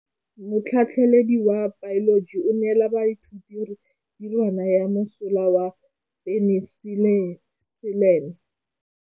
Motlhatlhaledi wa baeloji o neela baithuti tirwana ya mosola wa peniselene.